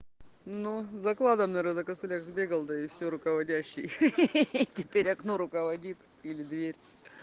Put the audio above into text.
ну за кладом наверное на костылях сбегал да и все руководящий ха-ха-ха теперь окно руководит или дверь